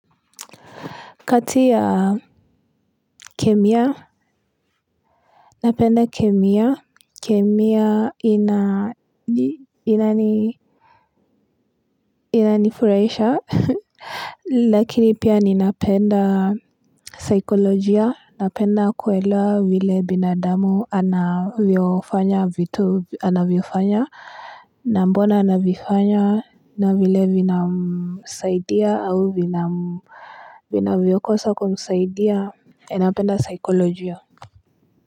Kati ya kemia, napenda kemia, kemia inanifurahisha, lakini pia ninapenda saikolojia, napenda kuelewa vile binadamu anavyofanya vitu anavyofanya, na mbona anavifanya, na vile vinamsaidia au vinavyokosa kumsaidia, napenda saikolojia.